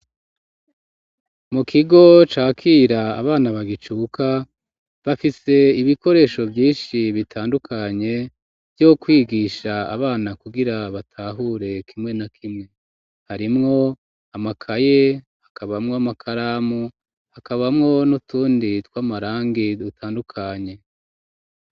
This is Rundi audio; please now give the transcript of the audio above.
Mu kigo ca kiea abana bagicuka bafise ibikoresho vyishi bitandukanye vyo kwigisha abana kugira batahure kimwe na kimwe harimwo amakaye hakabamwo amakaramu hakabamwo n'utundi tw'amarangi dutandukanye